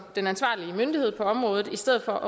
den ansvarlige myndighed på området i stedet for